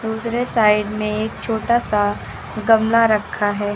दूसरे साइड में एक छोटा सा गमला रखा है।